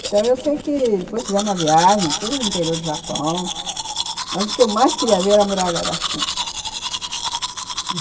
Então, eu sei que depois fizemos uma viagem, todo o interior do Japão, mas o que eu mais queria ver era a Muralha da China.